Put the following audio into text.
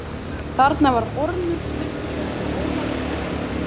Þarna var Ormur Sturluson og Ólafur Hjaltason.